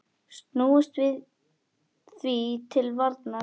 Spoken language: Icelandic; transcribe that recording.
Snúumst því til varnar!